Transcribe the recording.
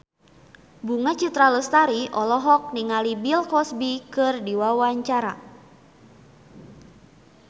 Bunga Citra Lestari olohok ningali Bill Cosby keur diwawancara